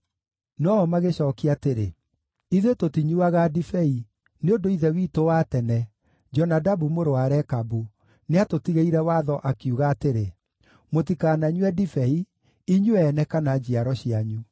No-o magĩcookia atĩrĩ, “Ithuĩ tũtinyuuaga ndibei, nĩ ũndũ ithe witũ wa tene, Jonadabu mũrũ wa Rekabu, nĩatũtigĩire watho, akiuga atĩrĩ, ‘Mũtikananyue ndibei, inyuĩ ene kana njiaro cianyu.